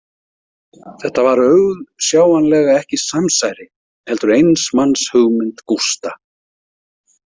Þetta var auðsjáanlega ekki samsæri, heldur eins manns hugmynd Gústa.